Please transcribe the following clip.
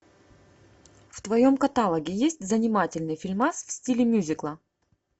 в твоем каталоге есть занимательный фильмас в стиле мьюзикла